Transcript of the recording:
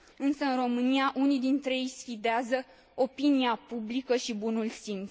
Însă, în România, unii dintre ei sfidează opinia publică și bunul simț.